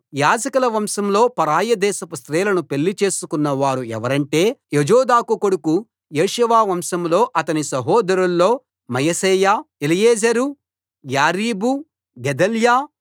యాజకుల వంశంలో పరాయి దేశపు స్త్రీలను పెళ్లి చేసుకొన్న వారు ఎవరంటే యోజాదాకు కొడుకు యేషూవ వంశంలో అతని సహోదరుల్లో మయశేయా ఎలీయెజెరు యారీబు గెదల్యా